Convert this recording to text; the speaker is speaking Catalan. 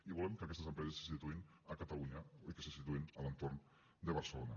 i volem que aquestes empreses se situïn a catalunya i que se situïn a l’entorn de barcelona